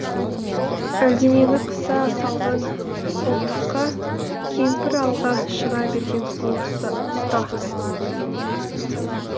әлденені қыса салған қолтыққа кемпір алға шыға берген сол тұста